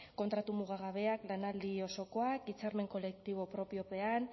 kontratu mugagabeak lanaldi osokoak hitzarmen kolektibo propiopean